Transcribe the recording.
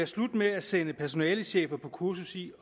slut med at sende personalechefer på kursus i